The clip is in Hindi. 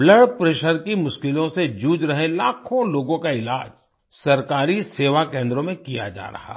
ब्लड प्रेशर की मुश्किलों से जूझ रहे लाखों लोगों का इलाज सरकारी सेवा केन्द्रों में किया जा रहा है